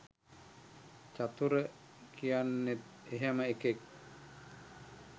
චතුර කියන්නෙත් එහෙම එකෙක්